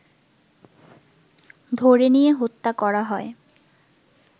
ধরে নিয়ে হত্যা করা হয়